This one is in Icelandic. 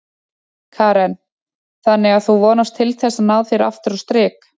Karen: Þannig að þú vonast til þess að ná þér aftur á strik?